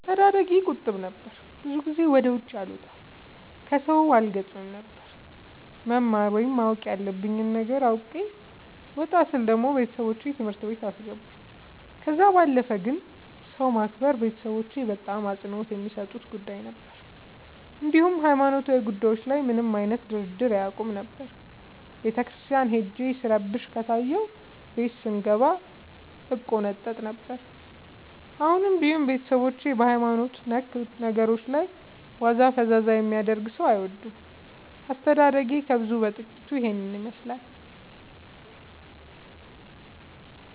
አስተዳደጌ ቁጥብ ነበር። ብዙ ጊዜ ወደ ውጪ አልወጣም ከሠው አልገጥምም ነበር። መማር ወይም ማወቅ ያለብኝ ነገር አውቄ ወጣ ስል ደግሞ ቤተሠቦቼ ትምህርት ቤት አስገቡኝ። ከዛ ባለፈ ግን ሰው ማክበር ቤተሠቦቼ በጣም አፅንኦት የሚሠጡት ጉዳይ ነበር። እንዲሁም ሀይማኖታዊ ጉዳዮች ላይ ምንም አይነት ድርድር አያውቁም ነበር። ቤተክርስቲያን ሄጄ ስረብሽ ከታየሁ ቤት ስንገባ እቆነጠጥ ነበር። አሁንም ቢሆን ቤተሠቦቼ በሀይማኖት ነክ ነገሮች ላይ ዋዛ ፈዛዛ የሚያደርግ ሠው አይወዱም። አስተዳደጌ ከብዙው በጥቂቱ ይህን ይመሥላል።